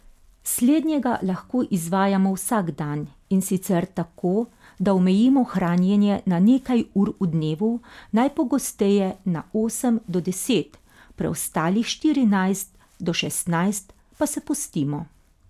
Slednjega lahko izvajamo vsak dan, in sicer tako, da omejimo hranjenje na nekaj ur v dnevu, najpogosteje na osem do deset, preostalih štirinajst do šestnajst pa se postimo.